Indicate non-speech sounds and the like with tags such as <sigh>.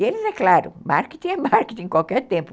E eles, é claro, marketing é <laughs> marketing a qualquer tempo.